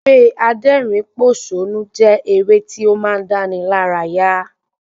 Eré adẹ́rìn pòsónú jẹ́ eré tí ó máa ń dáni lára yá